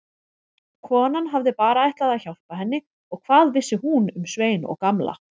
Konan hafði bara ætlað að hjálpa henni og hvað vissi hún um Svein og Gamla.